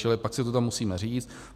Čili pak si to tam musíme říct.